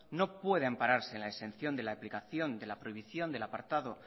no puede ampararse en la exención de la aplicación de la prohibición del apartado